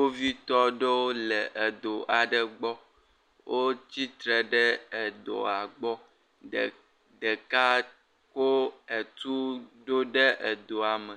Kpovitɔ ɖowo le edo aɖe gbɔ, o tsitre ɖe edoa gbɔ, ɖeka ko etu ɖo ɖe edoa me,